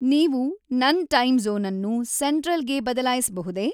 ನೀವು ನನ್ನ ಟೈಮ್‌ ಝೋನ್‌ನ್ನು ಸೆಂಟ್ರಲ್‌ಗೆ ಬದಲಾಯಿಸಬಹುದೇ?